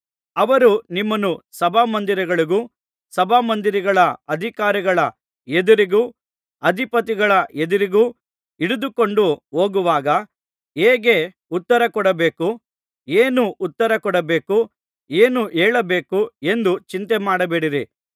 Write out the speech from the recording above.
ಅವರು ನಿಮ್ಮನ್ನು ಸಭಾಮಂದಿರಗಳಿಗೂ ಸಭಾಮಂದಿರಗಳ ಅಧಿಕಾರಿಗಳ ಎದುರಿಗೂ ಅಧಿಪತಿಗಳ ಎದುರಿಗೂ ಹಿಡಿದುಕೊಂಡು ಹೋಗುವಾಗ ಹೇಗೆ ಉತ್ತರ ಕೊಡಬೇಕು ಏನು ಉತ್ತರ ಕೊಡಬೇಕು ಏನು ಹೇಳಬೇಕು ಎಂದು ಚಿಂತೆಮಾಡಬೇಡಿರಿ